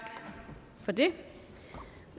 for det